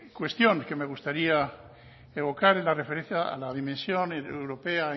cuestión que me gustaría evocar en referencia a la dimensión europea